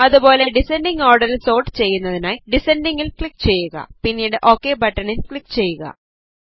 അതുപോലെ ഡിസൻഡിംഗ് ഓർഡറിൽ സോർട്ട് ചെയ്യുന്നതിനായി ഡിസൻഡിംഗ് ൽ ക്ലിക് ചെയ്യുക പിന്നീട് ഓകെ ബട്ടണിൽ ക്ലിക് ചെയ്യുക